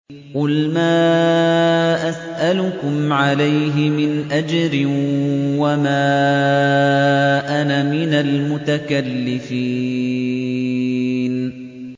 قُلْ مَا أَسْأَلُكُمْ عَلَيْهِ مِنْ أَجْرٍ وَمَا أَنَا مِنَ الْمُتَكَلِّفِينَ